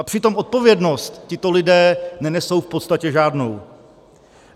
A přitom odpovědnost tito lidé nenesou v podstatě žádnou.